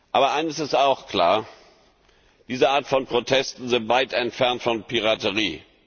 Aber eines ist auch klar, diese Art von Protesten sind weit entfernt von Piraterie.